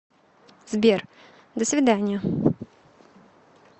сбер до свиданья